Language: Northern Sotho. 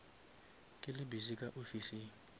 ke le busy ka ofising